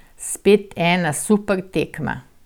Spet ena super tekma.